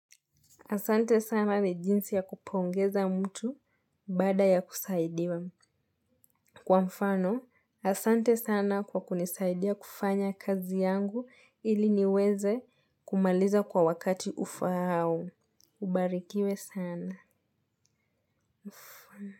Asante sana ni jinsi ya kupongeza mtu baada ya kusaidiwa. Kwa mfano, asante sana kwa kunisaidia kufanya kazi yangu ili niweze kumaliza kwa wakati ufaao. Ubarikiwe sana.